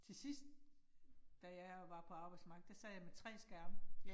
Til sidst. Da jeg var på arbejdsmarkedet, der sad jeg med 3 skærme